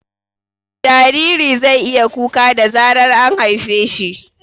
Jariri zai iya kuka da zarar an haife shi